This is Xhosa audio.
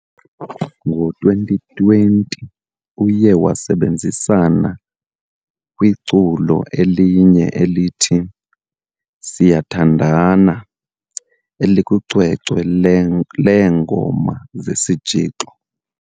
Ngo-2020, uye wasebenzisana kwiculo elinye elithi, "Siyathandana" elikwicwecwe leeNgoma zeSitshixo ".